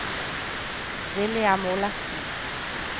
William Olafsen